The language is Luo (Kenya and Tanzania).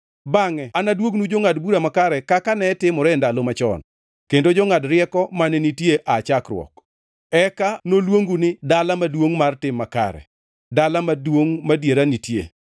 Bangʼe anaduognu jongʼad bura makare kaka ne timore e ndalo machon, kendo jongʼad rieko mane nitie aa chakruok. Eka noluongu ni Dala Maduongʼ mar Tim Makare, Dala Maduongʼ Madiera Nitie.”